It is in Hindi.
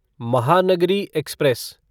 महानगरी एक्सप्रेस